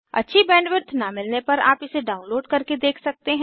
अच्छी बैंडविड्थ न मिलने पर आप इसे डाउनलोड करके देख सकते हैं